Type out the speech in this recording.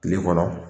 Kile kɔnɔ